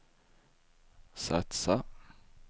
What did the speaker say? satsa